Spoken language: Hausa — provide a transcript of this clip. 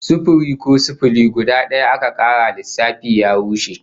Sufiri ko sifili guda daya aka kara lissafi ya rushe